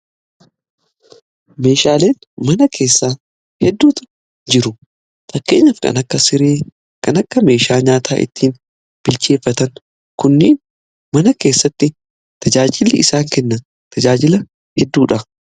Meeshaaleen mana keessaa hedduutu jiru. Fakkeenyaf kan akka siree kan akka meeshaa nyaataa ittiin bilcheeffatan kunniin mana keessatti tajaajili isaan kennan tajaajila hedduudha.